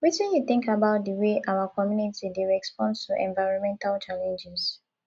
wetin you think about di way our community dey respond to environmental challenges